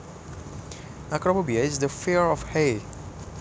Acrophobia is the fear of heights